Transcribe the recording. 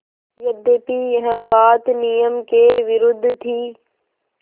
यद्यपि यह बात नियम के विरुद्ध थी